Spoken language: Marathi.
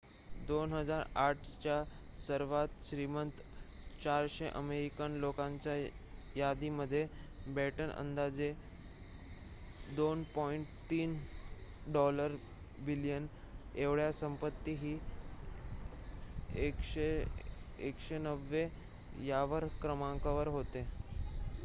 २००८ च्या सर्वांत श्रीमंत ४०० अमेरिकन लोकांच्या यादीमध्ये बॅटन अंदाजे $२.३ बिलियन एवढ्या संपत्तीसह १९० व्या क्रमांकावर होता